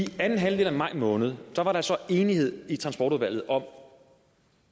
anden halvdel af maj måned var der så enighed i transportudvalget om